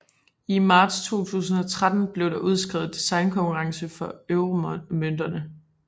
I marts 2013 blev det udskrevet designkonkurrence for euromønterne